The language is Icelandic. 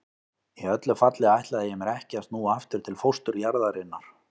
Í öllu falli ætlaði ég mér ekki að snúa aftur til fósturjarðarinnar.